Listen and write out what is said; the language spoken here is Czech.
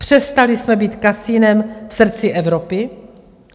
Přestali jsme být kasinem v srdci Evropy.